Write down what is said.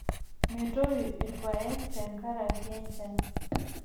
Metoyu ilpayek tenkaraki enchan.